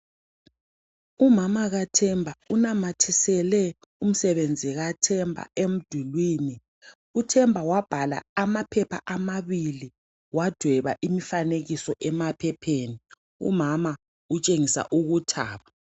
Umama kaThemba unamathisele umsebenzi kaThemba emdulwini. UThemba wabhala amaphepha amabili wadweba imifanekiso emaphepheni, umama utshengisa ukuthaba.